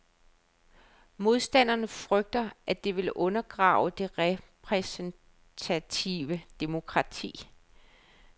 Modstanderne frygter, at det vil undergrave det repræsentative demokrati.